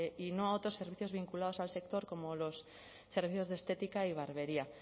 y no a otros servicios vinculados al sector como los servicios de estética y barbería